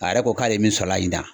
A yɛrɛ ko k'ale min sɔrɔ a la ɲinan